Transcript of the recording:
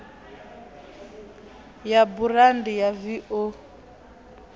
ya burandi ya v o